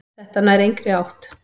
Þetta nær engri átt.